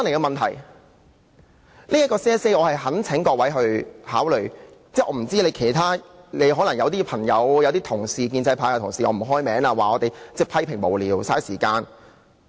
我不清楚其他人的想法，可能有些朋友或建制派同事——我不開名了——會批評我們無聊、浪費時間。